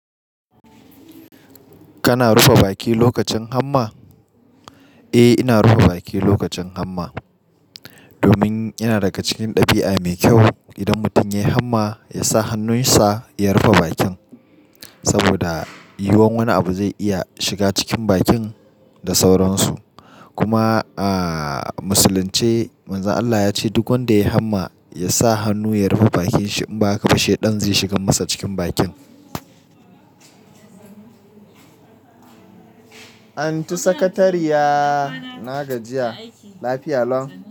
Kana rufe baki lokacin hamma? Eh, ina rufe baki lokacin hamma. Domin ina daga cikin ɗabi'a mai kyau. Idan mutum ya yi hamma, ya sa hannunsa ya rufe bakin saboda yuwan wani abu zai iya shiga cikin bakin da sauransu. Kuma a musulunce, Manzon Allah ya ce duk wanda ya yi hamma ya sa hannu ya rufe bakin shi. In ba haka ba, sheɗan zai shiga masa cikin bakin. An tu sakariyya na gajiya. Lafiya lon.